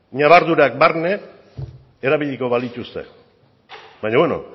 nabardurak barne erabiliko balituzte baina beno